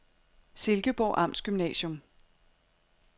Silkeborg Amtsgymnasium